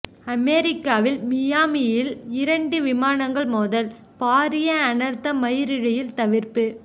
அமெரிக்காவின் மியாமியில் இரண்டு விமானங்கள் மோதல் பாரிய அனர்த்தம் மயிரிழழையில் தவிர்ப்பு